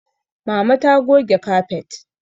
Mama ta goge kafet